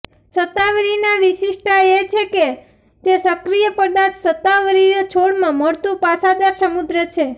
શતાવરી ના વિશિષ્ટતા એ છે કે તે સક્રિય પદાર્થ શતાવરી છોડમાં મળતું પાસાદાર સમૃદ્ધ છે